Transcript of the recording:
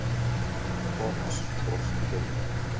Thomas brosti dauflega.